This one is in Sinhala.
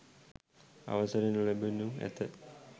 අවසර නොලැබෙනු ඇත.